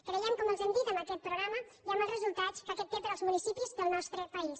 creiem com els hem dit en aquest programa i en els resultats que aquest té per als municipis del nostre país